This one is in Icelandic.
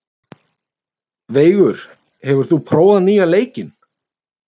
Veigur, hefur þú prófað nýja leikinn?